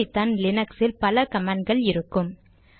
இப்படித்தான் லினக்ஸில் பல கமாண்ட் கள் இருக்கும்